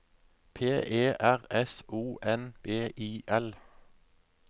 P E R S O N B I L